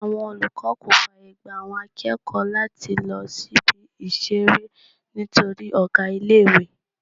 Àwọn olùkọ́ kò fàyègba àwọn akẹ́kọ̀ọ́ láti lọ sí Ibi-ìṣeré nítorí ọ̀gá ilé-ìwé.